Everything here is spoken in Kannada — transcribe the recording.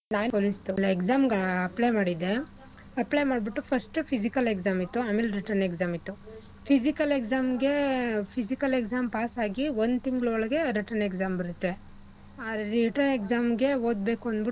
Exam ಗೆ apply ಮಾಡಿದ್ದೆ. apply ಮಾಡ್ಬಿಟ್ಟು first physical ಇತ್ತು. ಆಮೇಲೆ written exam ಇತ್ತು. physical exam ಗೆ physical exam pass ಆಗಿ ಒಂದ್ ತಿಂಗ್ಳ್ ಒಳ್ಗೆ written exam ಬರತ್ತೆ. ಆ written exam ಗೆ ಓದ್ಬೇಕು ಅಂದ್ಬಿಟು,